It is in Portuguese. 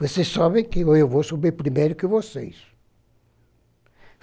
Você sobe que eu vou subir primeiro que vocês.